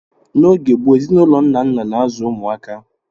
N'oge gboo, ezinụlọ nna nna na-azụ ụmụaka.